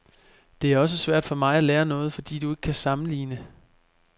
Det er også svært for mig at lære noget, fordi du ikke kan sammenligne.